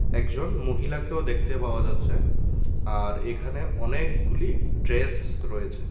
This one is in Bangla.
একজন মহিলাকেও দেখতে পাওয়া যাচ্ছে আর এখানে অনেকগুলি ড্রেস রয়েছে।